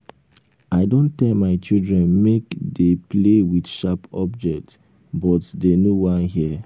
i don tell my children make dey play with sharp object but dey no wan hear